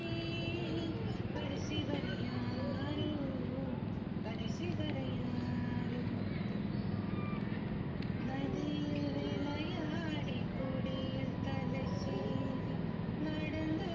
கடைசி வரை யாரோ கடைசி வரை யாரோ. நதியில் விளையாடி கொடியில் தலை சீவி நடந்த